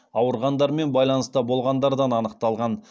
ауырғандармен байланыста болғандардан анықталған